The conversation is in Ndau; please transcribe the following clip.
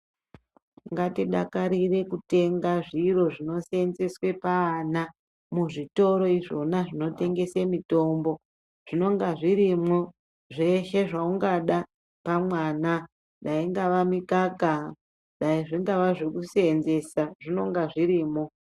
Ngatidakarire kutenga zviro zvinoseenzeswe paana, muzvitoro izvona zvinotengese mitombo. Zvinonga zvirimwo, zveshe zveungada pamwana, dai ingava mikaka, dai zvingava zvokuseenzesa, zvinonga zvirimo.